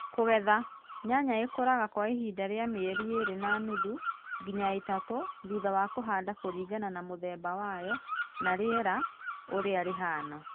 KUGETHA Nyanya ĩkũraga kwa ihinda rĩa mĩeri ĩĩrĩ na nuthu nginya itatũ thutha wa kũhanda kũringana na mũthemba wayo na rĩera ũrĩa rĩhana